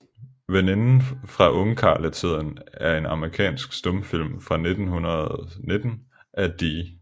Veninden fra Ungkarletiden er en amerikansk stumfilm fra 1919 af D